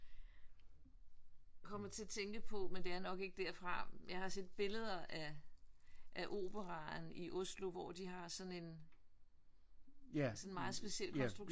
Kommer til at tænke på men det er nok ikke derfra jeg har set billeder af af Operaren i Oslo hvor de har sådan en sådan en meget speciel konstruktion med en trappe op ik? Og man kan gå op på taget ik? Ja